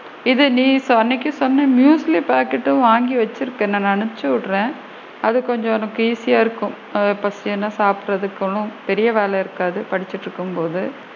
இது நீ அன்னைக்கு சொன்ன நூட்லஸ் பாக்கெட் ஒன்னு வாங்கி வச்சு இருக்கேன் அனுப்ச்சி விடுறேன் அது கொஞ்சம் உனக்கு easy யா இருக்கும் பசிக்குதுன்னா சாப்பிடுறதுக்கும் பெரிய வேலை இருக்காது படிச்சிட்டு இருக்கும் போது.